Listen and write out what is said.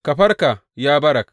Ka farka, ya Barak!